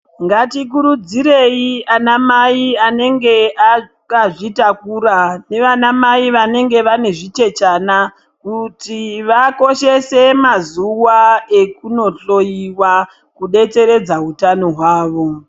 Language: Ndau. Ngatikurudzire anamai vanenge vakazvitakura nana Mai vanenge vane zvichechena. Kuti vakoshese mazuwa ekunohloiwa kudetseredza utano hwavo.